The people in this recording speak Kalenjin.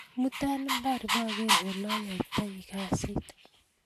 imuta mbar ibkeroo oleyaitoi kasiit